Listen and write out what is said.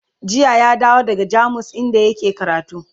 jiya ya dawo daga jamus inda yake karatu